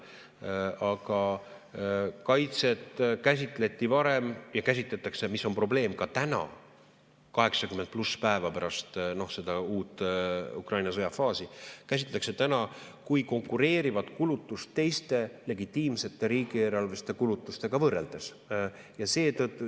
Aga kaitset käsitleti varem ja – mis on probleem – käsitletakse ka täna, 80+ päeva pärast seda uut Ukraina sõja faasi kui konkureerivat kulutust teiste legitiimsete riigieelarveliste kulutustega võrreldes.